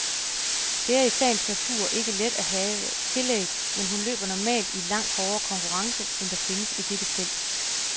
Det er i sagens natur ikke let at have tillæg, men hun løber normalt i langt hårdere konkurrence end der findes i dette felt.